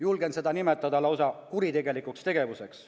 Julgen seda nimetada lausa kuritegelikuks tegevuseks.